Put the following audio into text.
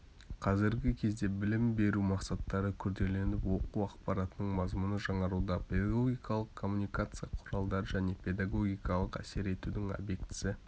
қазіргі кезеңде білім беру мақсаттары күрделеніп оқу ақпаратының мазмұны жаңаруда педагогикалық коммуникация құралдары және педагогикалық әсер етудің объектісі